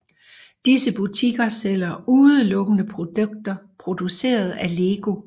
Disse butikker sælger udelukkende produkter produceret af LEGO